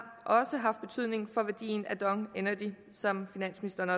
haft betydning for værdien af dong energy som finansministeren